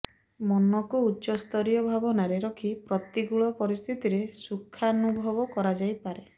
ମନକୁ ଉଚ୍ଚସ୍ତରୀୟ ଭାବନାରେ ରଖି ପ୍ରତିକୂଳ ପରିସ୍ଥିତିରେ ସୁଖାନୁଭବ କରାଯାଇପାରେ